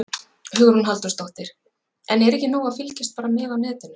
Hugrún Halldórsdóttir: En er ekki nóg að fylgjast bara með á netinu?